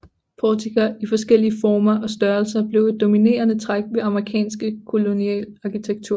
Portikker i forskellige former og størrelser blev et dominerende træk ved amerikansk kolonial arkitektur